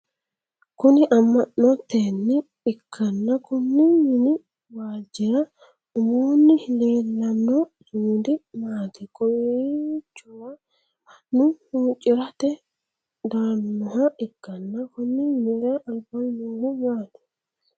Kunni ama'noteinne ikanna konni minni waalchira umoonni leelano sumudi maati? Kowichora mannu huucirate daanoha ikanna konni minnira albaanni noohu maati?